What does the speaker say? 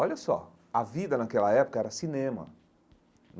Olha só, a vida naquela época era cinema.